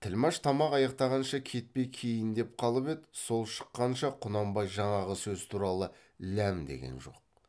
тілмәш тамақ аяқтағанша кетпей кейіндеп қалып еді сол шыққанша құнанбай жаңағы сөз туралы ләм деген жоқ